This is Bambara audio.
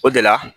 O de la